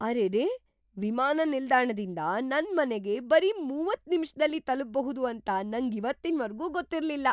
ಅರೆರೇ! ವಿಮಾನ ನಿಲ್ದಾಣದಿಂದ ನನ್ ಮನೆಗೆ ಬರೀ ಮೂವತ್ತು ನಿಮಿಷ್ದಲ್ಲಿ ತಲುಪ್ಬಹುದು ಅಂತ ನಂಗಿವತ್ತಿನ್ವರ್ಗೂ ಗೊತ್ತಿರ್ಲಿಲ್ಲ.